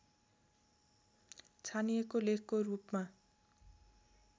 छानिएको लेखको रूपमा